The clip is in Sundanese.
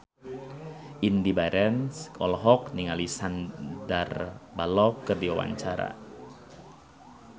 Indy Barens olohok ningali Sandar Bullock keur diwawancara